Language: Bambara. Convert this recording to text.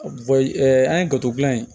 an ye gato dilan yen